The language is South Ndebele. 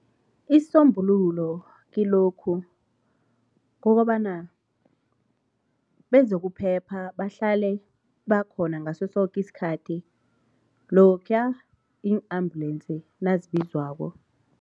Isisombululo kilokhu kokobana bezokuphepha bahlale bakhona ngaso soke isikhathi lokhuya iin-ambulensi nazobizwako.